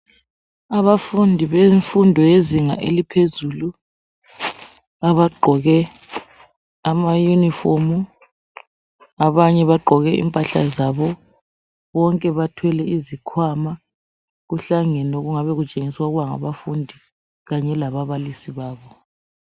Abafundi bemfundo yezinga eliphezulu abagqoke amayunifomu abanye bagqoke impahla zabo, bonke bathwele izikhwama kuhlangene okungabe kutshengisa ukuba ngabafundi kanye lababalisi babo.